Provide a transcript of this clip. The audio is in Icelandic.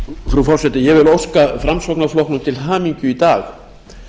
forseti ég vil óska framsóknarflokknum til hamingju í dag